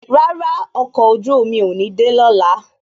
Rárá, ọkọ̀ ojú omi ò ní de lọ́la